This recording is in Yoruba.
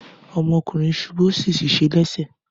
Ọmọkùnrin ṣubú ó sì ṣèṣe lẹ́sẹ̀.